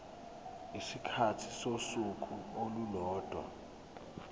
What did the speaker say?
isikhathi sosuku olulodwa